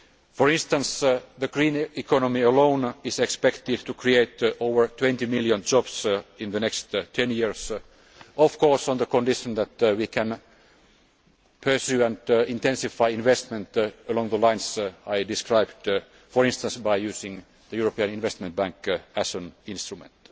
For instance, the green economy alone is expected to create over 20 million jobs in the next ten years, of course on the condition that we can pursue and intensify investment along the lines I described, for instance by using the European Investment Bank as an instrument.